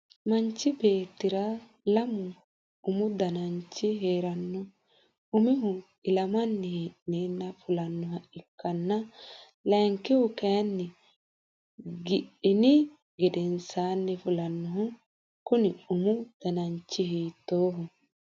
Mannichi beetira lamu umu danchi heerano umihu ilammanni hee'neenna fullanoha ikanna lankihu kayinni gidhinni gedensaanni fulanohu kunni umu danchi hiittooho?